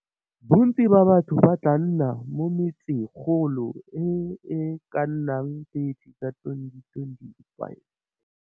Bontsi ba batho ba tlaa nna mo metse-golo e e ka nnang 30 ka 2025.